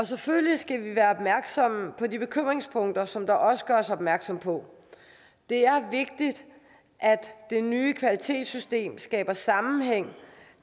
selvfølgelig skal vi være opmærksomme på de bekymringspunkter som der også gøres opmærksom på det er vigtigt at det nye kvalitetssystem skaber sammenhæng